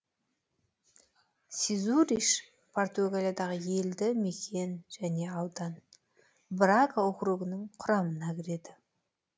сезуриш португалиядағы елді мекен және аудан брага округінің құрамына кіреді